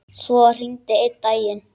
Svo var hringt einn daginn.